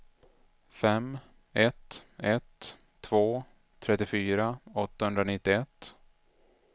fem ett ett två trettiofyra åttahundranittioett